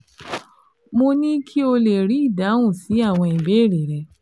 Mo ní kí o lè rí ìdáhùn sí àwọn ìbéèrè rẹ